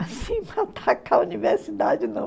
Assim atacar a universidade, não.